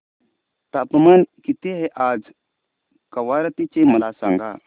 तापमान किती आहे आज कवारत्ती चे मला सांगा